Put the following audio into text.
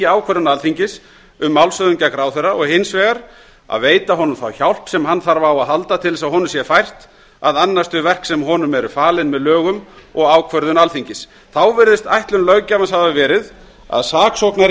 ákvörðun alþingis um málshöfðun gegn ráðherra og hins vegar að veita honum þá hjálp sem hann þarf á að halda til þess að honum sé fært að annast þau verk sem honum eru falin með lögum og ákvörðun alþingis þá virðist ætlun löggjafans hafa verið að saksóknari